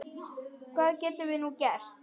Hvað getum við nú gert?